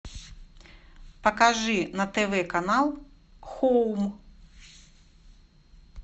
покажи на тв канал хоум